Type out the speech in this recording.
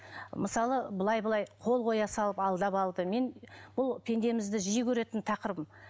мысалы былай былай қол қоя салып алдап алды мен бұл пендемізді жиі көретін тақырыбым